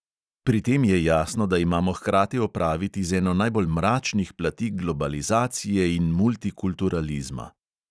Pri tem je jasno, da imamo hkrati opraviti z eno najbolj mračnih plati globalizacije in multikulturalizma.